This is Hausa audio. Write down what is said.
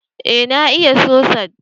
eh na iya sosaj